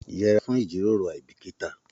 Yẹ'ra fún ijiroro aibikita!